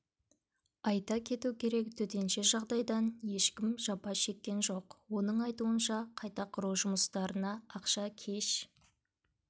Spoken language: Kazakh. айта кету керек төтенше жағдайдан ешкім жапа шеккен жоқ оның айтуынша қайта құру жұмыстарына ақша кеш